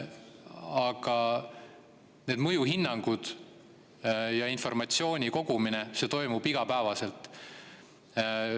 Aga mõjuhinnangute ja informatsiooni kogumine toimub igapäevaselt.